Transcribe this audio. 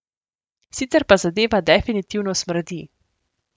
Sicer pa zadeva definitivno smrdi.